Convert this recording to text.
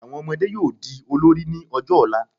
Àwọn ọmọdé yóò di olórí ní ọjọ́ ọ̀la